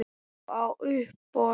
Og á uppboð.